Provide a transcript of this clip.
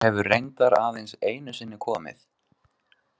Árný hefur reyndar aðeins einu sinni komið.